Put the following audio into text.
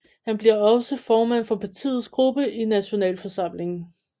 Han bliver også formand for partiets gruppe i Nationalforsamlingen